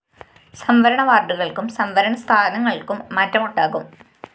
സംവരണ വാര്‍ഡുകള്‍ക്കും സംവരണ സ്ഥാനങ്ങള്‍ക്കും മാറ്റമുണ്ടാകും